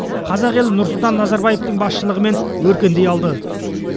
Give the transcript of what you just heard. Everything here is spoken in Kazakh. қазақ елі нұрсұлтан назарбаевтың басшылығымен өркендей алды